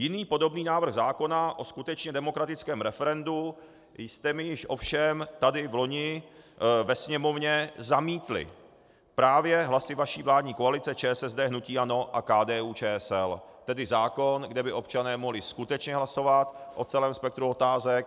Jiný podobný návrh zákona o skutečně demokratickém referendu jste mi již ovšem tady vloni ve Sněmovně zamítli právě hlasy vaší vládní koalice ČSSD, hnutí ANO a KDU-ČSL, tedy zákon, kde by občané mohli skutečně hlasovat o celém spektru otázek.